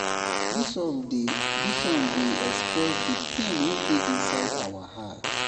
Dis song dey Dis song dey express di pain wey dey inside our heart.